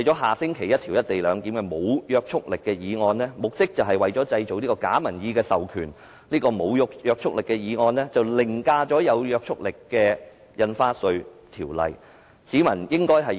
下星期有關"一地兩檢"的無約束力議案目的是製造假民意授權，而這項無約束力的議案凌駕了有約束力的《條例草案》。